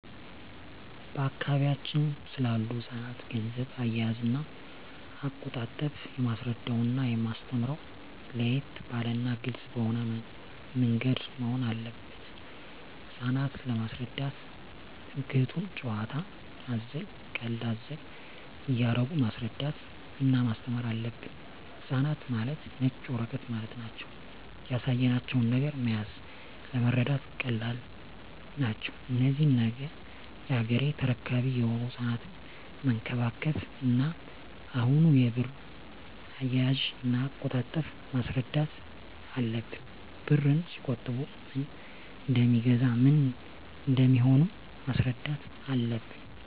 በአካባቢያችን ስላሉ ህጻናት ገንዘብ አያያዝና አቆጣጠብ የማስረዳውና የማስተምረው ለየት ባለና ግልጽ በሆነ ምንገድ መሆን አለበት ህጻናት ለመሰረዳት ትምክህቱን ጭዋታ አዘል ቀልድ አዘል እያረጉ ማስረዳት እና ማስተማር አለብን ህጻናት ማለት ነጭ ወረቀት ማለት ናቸው ያሳያቸው ነገር መያዝ ለመረዳት ቀላል ናቸው እነዚህ ነገ ያገሬ ተረካቢ የሆኑ ህጻናትን መንከባከብ እና አሁኑ የብር አያያዥ እና አቆጣጠብ ማስረዳት አለብን ብርን ሲቆጥቡ ምን እደሜገዛ ምን እንደሚሆኑም ማስረዳት አለብን